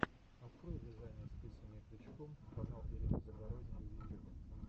открой вязание спицами и крючком канал ирина загородния в ютюбе